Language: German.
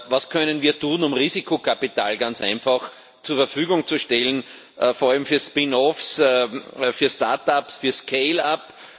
Was können wir tun, um Risikokapital ganz einfach zur Verfügung zu stellen, vor allem für Spin offs, für Start ups, für Scale ups?